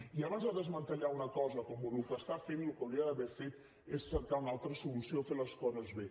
i abans de desmantellar una cosa com ho està fent el que hauria d’haver fet és cercar una altra solució fer les coses bé